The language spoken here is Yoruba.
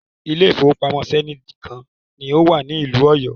Ilé ìfọwọ́pamo Zenith kan ni o wà nílùú Ọ̀yọ́.